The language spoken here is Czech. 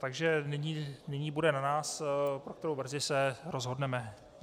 Takže nyní bude na nás, pro kterou verzi se rozhodneme.